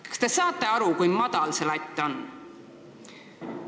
" Kas te saate aru, kui madalal see latt on?